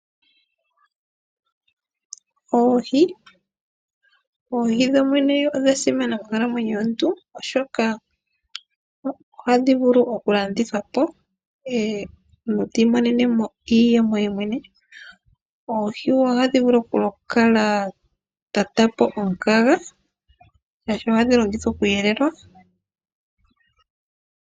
Oohi dhodhene odha simana monkalamwenyo yomuntu oshoka ohadhi vulu okulandithwapo , omuntu tiimonenemo iiyemo yemwene . Oohi ohadhi vulu wo okukala dhakandulapo omukaga , shaashi ohadhi longithwa okweelelwa.